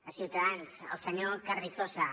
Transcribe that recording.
a ciutadans al senyor carrizosa